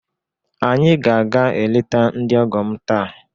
Anyị ga-aga eleta ndị ọgọ m taa